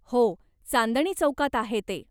हो, चांदणी चौकात आहे ते.